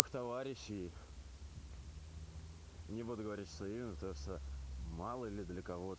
товарищей не буду говорить что именно потому что мало ли для кого